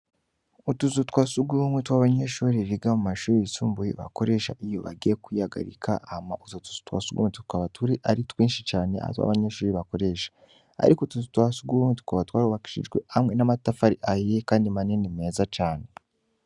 Utuzu twa sugumwe tw'abanyeshure biga mu mashure yisumbuye, bakoresha iyo bagiye kwihagarika, hama utwo tuzo twa sugumwe tukaba turi ari twinshi cane hanze abanyeshure bakoresha. Ariko utuzu twa sugumwe tukaba twarubakishijwe hamwe n'amatafari ahiye kandi manini meza cane.